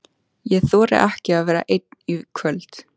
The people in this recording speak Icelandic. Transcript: Ég þori ekki að vera einn í kvöld.